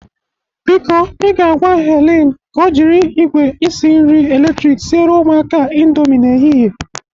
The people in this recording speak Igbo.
Biko, ị ga-agwa Helen ka o jiri igwe isi nri eletriki siere ụmụaka a indomi n'ehihe.